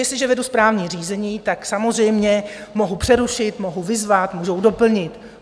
Jestliže vedu správní řízení, tak samozřejmě mohu přerušit, mohu vyzvat, mohu doplnit.